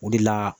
O de la